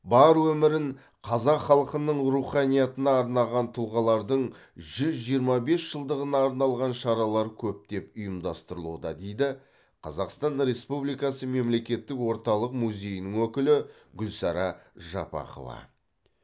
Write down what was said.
бар өмірін қазақ халқының руханиятына арнаған тұлғалардың жүз жиырма бес жылдығына арналған шаралар көптеп ұйымдастырылуда дейді қазақстан республиксы мемлекеттік орталық музейінің өкілі гүлсара жапақова